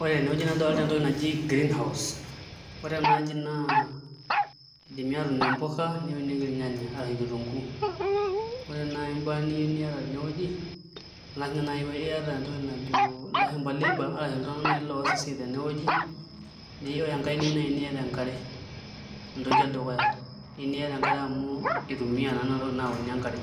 Ore tenewueji nadolita entoki naji greenhouse ore ena aji naa idimi aatuunie mpuka neunieki ilnyanya arashu kitunguu ore naai imbaa niyieu niata tenewueji ing'as ninye naai aaku iyieu niata entoki najo ilashumba labour arashu iltung'anak naai ooas esiai tenewueji neyieu enkai naai niata enkare entoki edukuya eyieu niata enkare amu itumiai naa nena tokitin nauni enkare